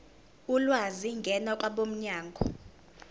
ulwazi ngena kwabomnyango